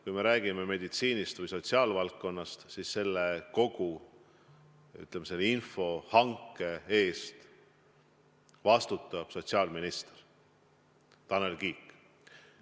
Kui me räägime meditsiinist või sotsiaalvaldkonnast, siis kogu selle info ja hanke eest vastutab sotsiaalminister Tanel Kiik.